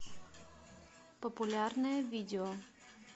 популярное видео